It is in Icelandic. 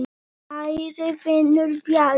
Kæri vinur, Bjarni.